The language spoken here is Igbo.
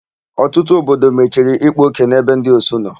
Ọtụtụ obodo mechiri ịkpa ókè n'ebe ndị osu nọ.